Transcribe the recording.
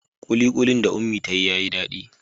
Kulikuli da Unmie ta yi yayi dadi.